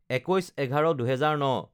২১/১১/২০০৯